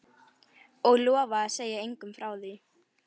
Og lofa að segja engum frá því?